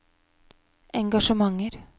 engasjementer